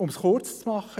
Um es kurz zu machen: